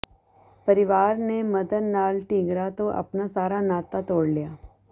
ਪਰਿਵਾਰ ਨੇ ਮਦਨ ਲਾਲ ਢੀਂਗਰਾ ਤੋਂ ਆਪਣਾ ਸਾਰਾ ਨਾਤਾ ਤੋੜ ਲਿਆ